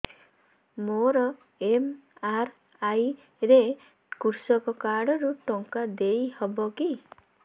ମୋର ଏମ.ଆର.ଆଇ ରେ କୃଷକ କାର୍ଡ ରୁ ଟଙ୍କା ଦେଇ ହବ କି